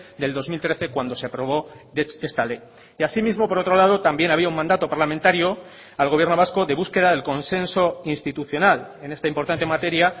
del dos mil trece cuando se aprobó esta ley y asimismo por otro lado también había un mandato parlamentario al gobierno vasco de búsqueda del consenso institucional en esta importante materia